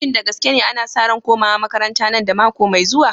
Shin da gaske ne, ana sa ran komawa makaranta nan da mako mai zuwa?